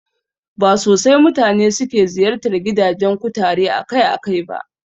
Ba sosai mutane suke ziyartar gidajen kutare akai-akai ba